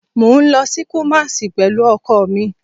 Mo n lọ si Kumasi pẹlu ọkọ mi